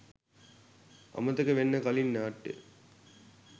"අමතක වෙන්න කලින්" නාට්‍ය